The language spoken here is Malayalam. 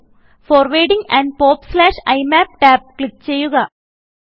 ഫോർവാർഡിങ് ആൻഡ് popഇമാപ് ടാബ് ക്ലിക്ക് ചെയ്യുക